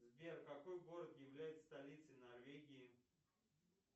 сбер какой город является столицей норвегии